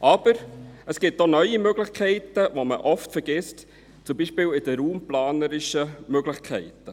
Aber es gibt auch neue Möglichkeiten, die man oft vergisst: beispielsweise die raumplanerischen Möglichkeiten.